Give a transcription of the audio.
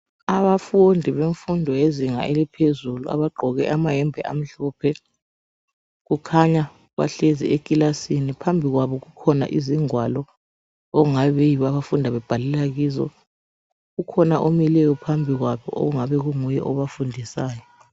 Abafundi bemfundo yezinga eliphezulu abagqoke amahembe amhlophe. Kukhanya bahlezi ekilasini phambi kwabo kukhona izingwalo okungabe befunda bebhalela kizo. Ukhona omileyo phambi kwabo ongabe kunguye obafundisayo.